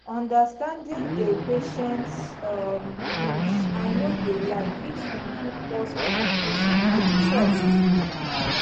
understanding a patients um beliefs i no de lie fit improve pause communication and trust